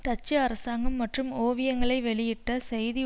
Dutch அரசாங்கம் மற்றும் ஓவியங்களை வெளியிட்ட செய்தி